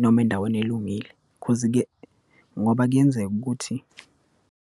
noma endaweni elungile, cause-ke ngoba kuyenzeka ukuthi.